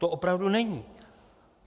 To opravdu není.